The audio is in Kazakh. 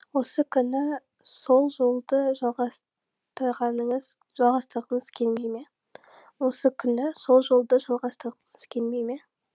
осы күні сол жолды жалғастырғыңыз келмей ме осы күні сол жолды жалғастырғыңыз келмей ме